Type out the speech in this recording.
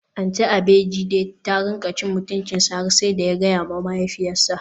Aunty Abejide ta rinka cin mutuncinsa har sai da ya gayawa mahaifiyarsa.